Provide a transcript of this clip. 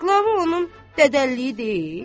Qlava onun dədəliyi deyil?